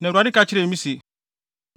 Na Awurade ka kyerɛɛ me se,